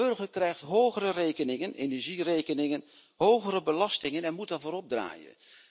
De burger krijgt hogere rekeningen energierekeningen, hogere belastingen en moet daarvoor opdraaien.